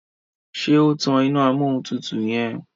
ṣe o tán iná Amóhuntutù yen?